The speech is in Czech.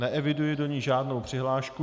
Neeviduji do ní žádnou přihlášku.